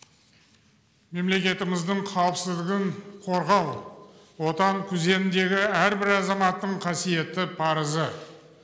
мемлекетіміздің қауіпсіздігін қорғау отан күзетіндегі әрбір азаматтың қасиетті парызы